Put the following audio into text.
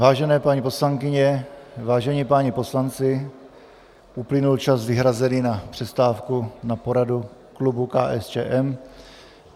Vážené paní poslankyně, vážení páni poslanci, uplynul čas vyhrazený na přestávku na poradu klubu KSČM.